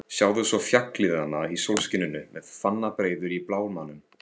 Sjáðu svo fjallið þarna í sólskininu með fannabreiður í blámanum.